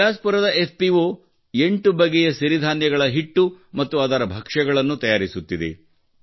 ಬಿಲಾಸ್ಪುರದ FPO 8 ಬಗೆಯ ಸಿರಿಧಾನ್ಯಗಳ ಹಿಟ್ಟು ಮತ್ತು ಅದರ ಭಕ್ಷ್ಯಗಳನ್ನು ತಯಾರಿಸುತ್ತಿದೆ